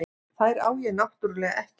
Þær á ég náttúrlega ekki.